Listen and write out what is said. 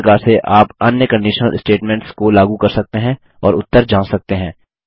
इसी प्रकार से आप अन्य कंडिशनल स्टेटमेंट्स को लागू कर सकते हैं और उत्तर जाँच सकते हैं